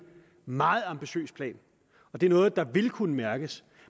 meget ambitiøs plan og det er noget der vil kunne mærkes